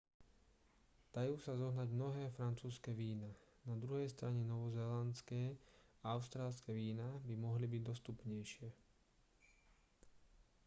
dajú sa zohnať mnohé francúzske vína na druhej strane novozélandské a austrálske vína by mohli byť dostupnejšie